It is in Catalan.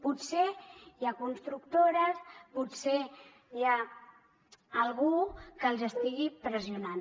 potser hi ha constructores potser hi ha algú que els estigui pressionant